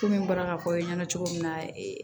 Komi n bɔra k'a fɔ aw ɲɛna cogo min na